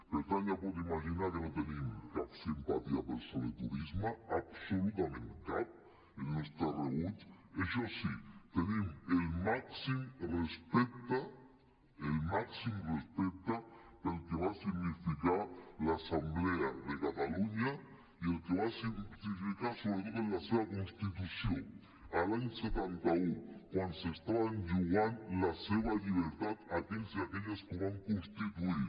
per tant ja pot imaginar que no tenim cap simpatia pel soleturisme absolutament cap el nostre rebuig això sí tenim el màxim respecte el màxim respecte pel que va significar l’assemblea de catalunya i el que va significar sobretot en la seva constitució l’any setanta un quan s’estaven jugant la seva llibertat aquells i aquelles que ho van constituir